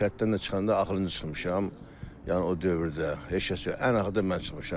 Kənddən də çıxanda axırıncı çıxmışam, yəni o dövrdə heç kəs yox, ən axırda mən çıxmışam.